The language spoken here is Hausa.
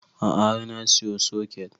A'a har na siyo soket